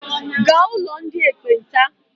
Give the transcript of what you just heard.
Gaa ụlọ ndị ekpenta!